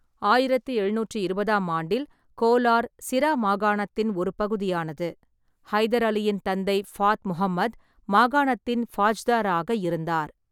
ஆயிரத்து எழுநூற்று இருபதாம் ஆண்டில் கோலார் சிரா மாகாணத்தின் ஒரு பகுதியானது. ஹைதர் அலியின் தந்தை ஃபாத் மொஹமெத் மாகாணத்தின் ஃபாஜ்தார் ஆக இருந்தார்.